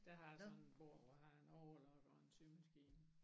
Der har jeg sådan et bord hvor jeg har en overlocker og en symaskine